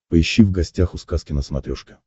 поищи в гостях у сказки на смотрешке